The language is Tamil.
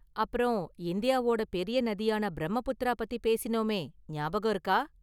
அப்பறம், இந்தியாவோட​ பெரிய​ நதியான பிரம்மபுத்திரா பத்தி பேசினோமே, ஞாபகம் இருக்கா?